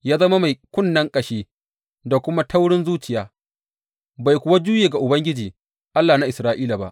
Ya zama mai kunnen ƙashi da kuma taurin zuciya, bai kuwa juye ga Ubangiji, Allah na Isra’ila ba.